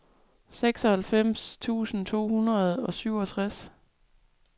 seksoghalvfems tusind to hundrede og syvogtres